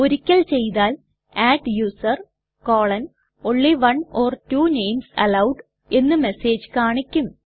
ഒരിക്കൽ ചെയ്താൽ adduser160 only one or two names allowed എന്ന് മെസ്സേജ് കാണിക്കും